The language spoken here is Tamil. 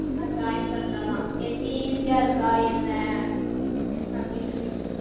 ஆஹ் join பண்றாளாம் எப்படி easy ஆ இருக்கா என்ன அப்பிடி சொல்லிட்டு